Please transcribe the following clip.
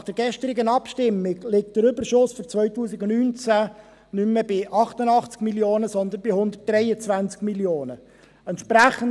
Nach der gestrigen Abstimmung liegt der Überschuss für 2019 nicht mehr bei 88 Mio. Franken, sondern bei 123 Mio. Franken.